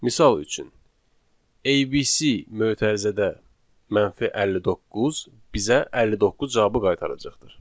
Misal üçün, ABC mötərizədə 59 bizə 59 cavabı qaytaracaqdır.